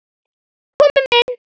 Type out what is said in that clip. Komum inn!